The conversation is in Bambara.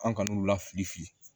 An kan'u la fili fili